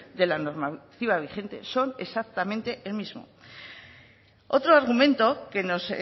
de la normativa vigente son exactamente el mismo otro argumento que nos